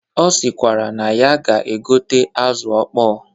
Ọ sịkwara na ya ga-egote azụ ọkpọ